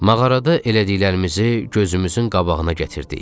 Mağarada elədiklərimizi gözümüzün qabağına gətirdik.